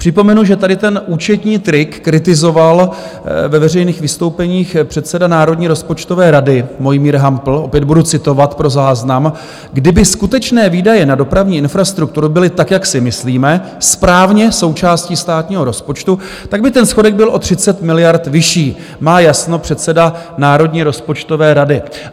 Připomenu, že tady ten účetní trik kritizoval ve veřejných vystoupeních předseda Národní rozpočtové rady Mojmír Hampl, opět budu citovat pro záznam: "Kdyby skutečné výdaje na dopravní infrastrukturu byly tak, jak si myslíme, správně součástí státního rozpočtu, tak by ten schodek byl o 30 miliard vyšší," má jasno předseda Národní rozpočtové rady.